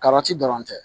Karati dɔrɔn tɛ